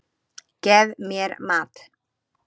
Gef mér mat!